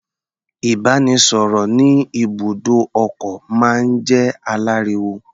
Ìbáraẹnisọ̀rọ̀ ní ibùdó ọkọ̀ máa ń jẹ́ aláriwo.